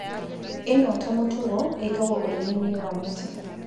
ĩno ota mũtugo ĩkagwo ũrĩmi-inĩ wa mĩtĩ